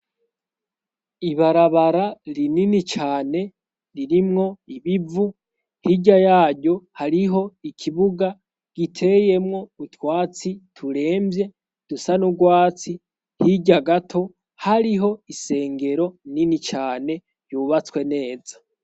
Ibarabara rinini cane ririmwo ibivu; hirya yaryo hariho ikibuga giteyemwo utwatsi turemvye dusa n'urwatsi; hirya gato hariho isengero nini cane yubatswe neza.